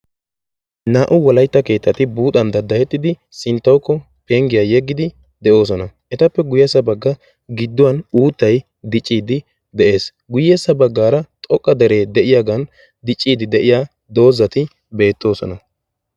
Naa''u Wolaytta keettati buuxan daddayettidi sinttawukko penggiyaa yeggidi de'oosona, etappe guyyessaa bagga gidduwa uuttay diccide dees. guyye baggaara xoqqa dere de'iyaagan diccide de'iyaa doozati beettoosona.